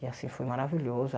E assim, foi maravilhosa.